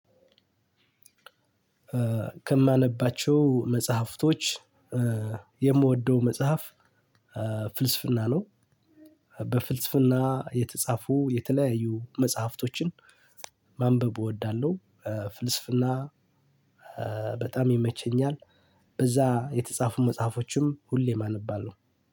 ከማነባቸው መጽሐፍቶች የምወደው መጽሐፍ ፍልስፍና ነው። በፍልስፍና የተጻፉ የተለያዩ መጽሐፍቶችን ማንበብ እወዳለሁ። ፍልስፍና በጣም ይመቸኛል። በዛ የተጻፉ መጽሐፎችን ሁሌም አነባለሁ።